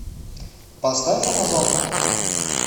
поставь амазонка